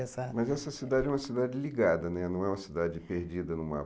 Essa mas essa cidade é uma cidade ligada né, não é uma cidade perdida no mapa.